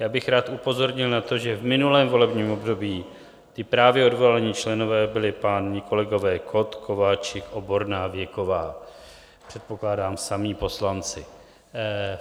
Já bych rád upozornil na to, že v minulém volebním období ti právě odvolaní členové byli páni kolegové Kott, Kováčik, Oborná, Věková, předpokládám, samí poslanci.